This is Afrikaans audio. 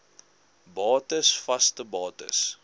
bates vaste bates